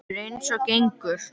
Það er eins og gengur.